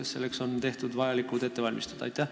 Kas selleks on tehtud vajalikud ettevalmistused?